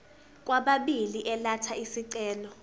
kwababili elatha isicelo